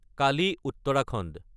Kali - Uttarakhand